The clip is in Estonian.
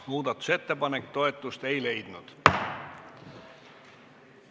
Muudatusettepanek toetust ei leidnud.